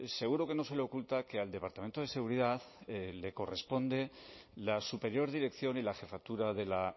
seguro que no se le oculta que al departamento de seguridad le corresponde la superior dirección y la jefatura de la